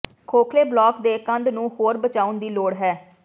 ਖੋਖਲੇ block ਦੇ ਕੰਧ ਨੂੰ ਹੋਰ ਬਚਾਉਣ ਦੀ ਲੋੜ ਹੈ